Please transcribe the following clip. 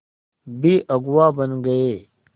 भी अगुवा बन गए